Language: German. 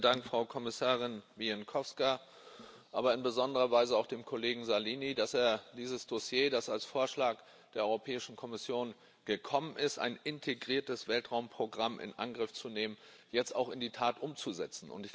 Herr Präsident! Herzlichen Dank, Frau Kommissarin Bieńkowska, aber in besonderer Weise auch dem Kollegen Salini, dass er dieses Dossier, das als Vorschlag der Europäischen Kommission gekommen ist, ein integriertes Weltraumprogramm in Angriff zu nehmen, jetzt auch in die Tat umsetzt.